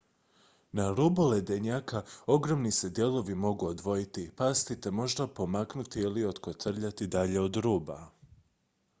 na rubu ledenjaka ogromni se dijelovi mogu odvojiti pasti te možda pomaknuti ili otkotrljati dalje od ruba